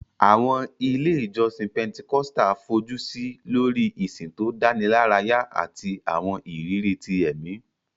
Àwọn ilé ìjọsìn Pentecostal fojú sí lórí ìsìn tó dánilárayá àti àwọn ìrírí ti ẹ̀mí